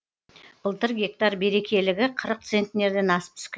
былтыр гектар берекелігі қырық центнерден асып түскен